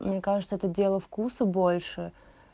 мне кажется это дело вкуса больше